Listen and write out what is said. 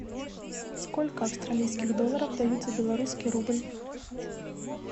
сколько австралийских долларов дают за белорусский рубль